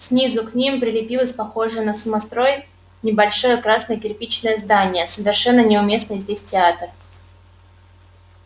снизу к ним прилепилось похожее на самострой небольшое красное кирпичное здание совершенно неуместный здесь театр